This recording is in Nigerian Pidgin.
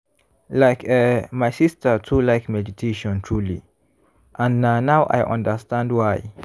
like eh my sister too like meditation truely and na now i understand why.